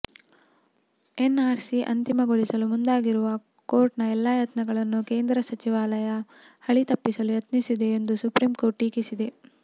NRC ಅಂತಿಮಗೊಳಿಸಲು ಮುಂದಾಗಿರುವ ಕೋರ್ಟ್ನ ಎಲ್ಲ ಯತ್ನಗಳನ್ನೂ ಕೇಂದ್ರ ಗೃಹಸಚಿವಾಲಯ ಹಳಿತಪ್ಪಿಸಲು ಯತ್ನಿಸುತ್ತಿದೆ ಎಂದು ಸುಪ್ರೀಂಕೋರ್ಟ್ ಟೀಕಿಸಿದೆ